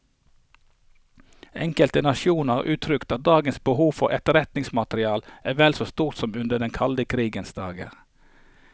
Enkelte nasjoner har uttrykt at dagens behov for etterretningsmateriale er vel så stort som under den kalde krigens dager.